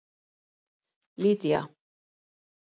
Lydía